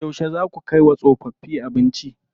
Yauce zaa ku kai wa tsofaffi abinci?